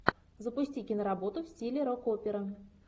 запусти киноработу в стиле рок опера